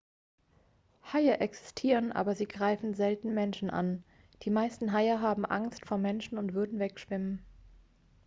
haie existieren aber sie greifen selten menschen an die meisten haie haben angst vor menschen und würden wegschwimmen